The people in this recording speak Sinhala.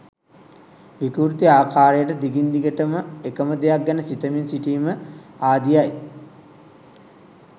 විකෘති ආකාරයට දිගින් දිගටම එක ම දෙයක් ගැන සිතමින් සිටීම ආදිය යි.